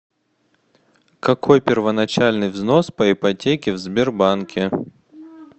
какой первоначальный взнос по ипотеке в сбербанке